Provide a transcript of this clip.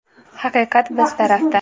Haqiqat biz tarafda.